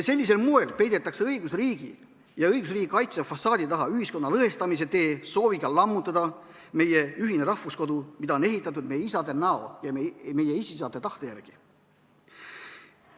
Sellisel moel peidetakse õigusriigi ja õigusriigi kaitse fassaadi taha ühiskonna lõhestamise tee sooviga lammutada meie ühine rahvuskodu, mida on ehitatud meie isade näo ja meie esiisade tahte järgi.